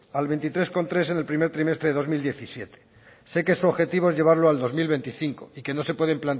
al veintitrés coma tres en el primer trimestre de dos mil diecisiete sé que su objetivo es llevarlo al dos mil veinticinco que no se pueden